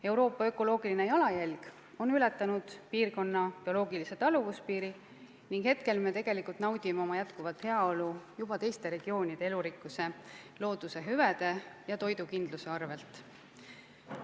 Euroopa ökoloogiline jalajälg on ületanud piirkonna bioloogilise taluvuspiiri ning praegu me tegelikult naudime oma jätkuvat heaolu juba teiste regioonide elurikkuse, looduse hüvede ja toidukindluse arvel.